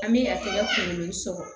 An bɛ a tɛgɛ kunkolo sɔgɔ